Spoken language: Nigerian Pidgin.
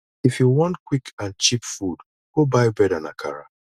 if you wan quick and cheap food go buy bread and akara